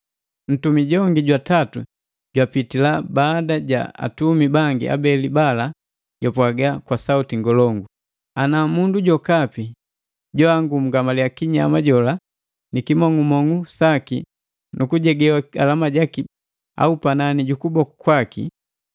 Ntumi jongi jwatatu jwapitila baada ja atumi bangi abeli bala japwaga kwa sauti ngolongu, “Ana mundu jokapi joangungamalia kinyama jola ni kimong'umong'u saki nu kujegewa alama jaki panani ji kibongi jaki au panani ju kuboku kwaki,